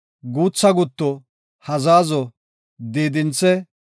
guutha gutto, hazazo, diidinthe,